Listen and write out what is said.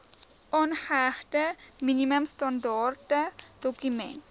aangehegte minimum standaardedokument